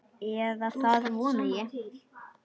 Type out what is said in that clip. Eða það vona ég,